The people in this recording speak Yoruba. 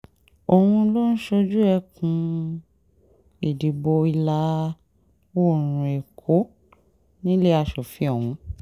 òun ló ń ṣojú ẹkùn-ìdìbò ìlà-oòrùn èkó nílé aṣòfin ọ̀hún